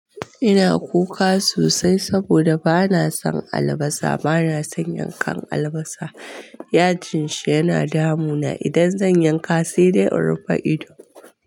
Ina kuka sosai saboda bana son albasa, bana son yankan albasa. Yajin shi yana damuna idan zan yanka, sai dai in rufe ido.